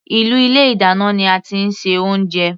Inú ilé ìdáná ní a tí ń ṣe oúnjẹ.